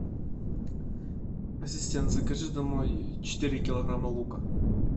ассистент закажи домой четыре килограмма лука